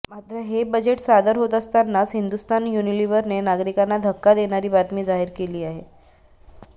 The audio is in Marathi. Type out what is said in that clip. मात्र हे बजेट सादर होत असतानाच हिंदुस्थान युनिलिव्हरने नागरिकांना धक्का देणारी बातमी जाहीर केली आहे